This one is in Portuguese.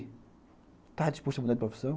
Está disposto a mudar de profissão?